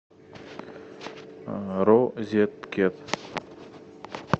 розеткед